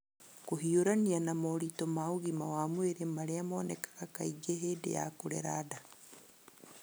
kũhiũrania na moritũ ma ugima wa mwĩrĩ marĩa monekaga kaingĩ hĩndĩ ya kũrera nda.